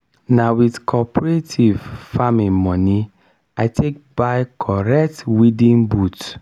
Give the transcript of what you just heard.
na with cooperative farming moni i take buy corrent weeding boot.